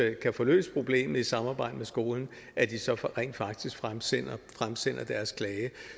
ikke kan få løst problemet i samarbejde med skolen at de så rent faktisk fremsender deres klage